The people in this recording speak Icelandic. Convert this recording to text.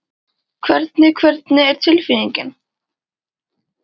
Hvernig, hvernig er tilfinningin?